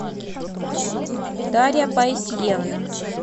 дарья паисьевна